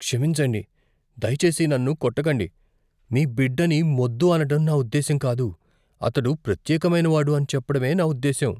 క్షమించండి, దయచేసి నన్ను కొట్టకండి. మీ బిడ్డని మొద్దు అనడం నా ఉద్దేశ్యం కాదు. అతడు ప్రత్యేకమైనవాడు అని చెప్పడమే నా ఉద్దేశ్యం.